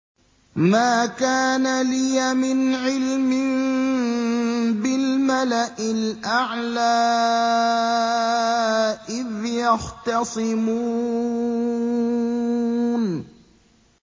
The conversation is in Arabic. مَا كَانَ لِيَ مِنْ عِلْمٍ بِالْمَلَإِ الْأَعْلَىٰ إِذْ يَخْتَصِمُونَ